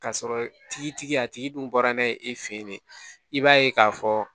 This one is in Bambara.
Ka sɔrɔ tigi a tigi dun bɔra n'a ye e fɛ yen de i b'a ye k'a fɔ